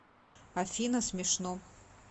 афина смешно